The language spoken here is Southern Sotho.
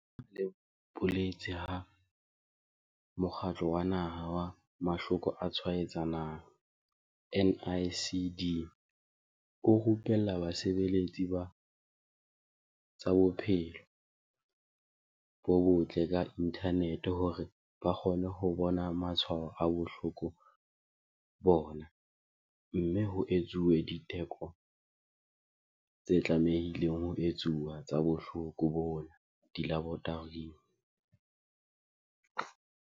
Letona le boletse ha Mokgatlo wa Naha wa Mahloko a Tshwaetsanang, NICD, o rupella basebeletsi ba tsa bophelo bo botle ka inthanete hore ba kgone ho bona matshwao a bohloko bona mme ho etsuwe diteko tse tlamehileng ho etsuwa tsa bohloko bona dilaboratoring.